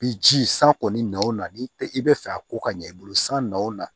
Bi ji san kɔni o na n'i tɛ i bɛ fɛ a ko ka ɲɛ i bolo san n'o na